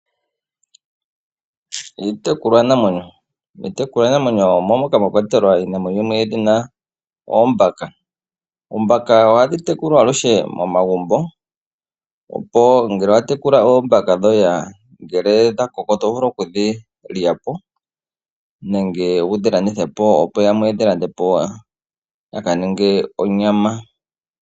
Iitekulwanamwenyo omo moka mwa kwatelwa iinamwenyo yimwe yedhina oombaka. Oombaka oha dhi tekulwa aluhe momagumbo opo ngele owa tekula oombaka dhoye ngele odha koko to vulu oku dhi lya po, nenge wu dhi landithe po yamwe ye dhi lande po ya ka ninge onyama.